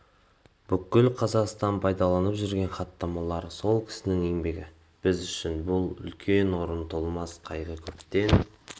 бүкіл қазақстан пайдаланып жүрген хаттамалар сол кісінің еңбегі біз үшін бұл үлкен орны толмас қайғы көптен